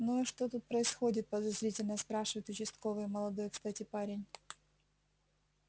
ну и что тут происходит подозрительно спрашивает участковый молодой кстати парень